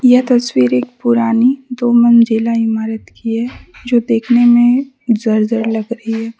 यह तस्वीर एक पुरानी दो मंजिला इमारत की है जो देखने मे जर्जर लग रही है।